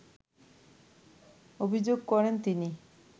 অভিযোগ করেন তিনি